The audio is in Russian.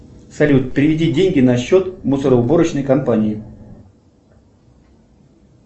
салют переведи деньги на счет мусороуборочной компании